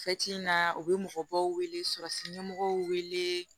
in na u bɛ mɔgɔbaw wele sɔrɔsiɲɛmɔgɔw wele